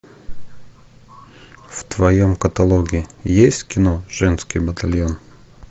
в твоем каталоге есть кино женский батальон